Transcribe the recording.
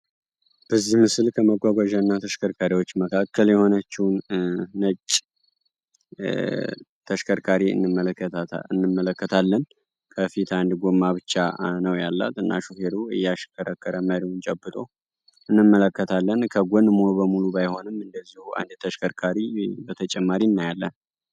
በዚህ ምስል ከመጓጓዣ እና ተሽከርካሪዎች መካከል የሆነችውን ነጭ ተሽከርካሪ እንመለከታለን። ከፊት አንድ ጎማ ብቻ ነው ያላት እና ሹፌሩ እያሽከረከር መሪውን ጨብጦ እንመለከታለን። ከጎን ሙሉ በሙሉ ባይሆንም እንደዚሁ አንድ ተሽከርካሪ በተጨማሪ እናያለን።